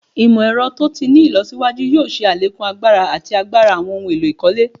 Imọ-ẹrọ to ti ni ilọsiwaju yoo ṣe alekun agbara ati agbara awọn ohun elo ikole